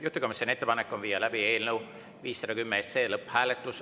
Juhtivkomisjoni ettepanek on viia läbi eelnõu 510 lõpphääletus.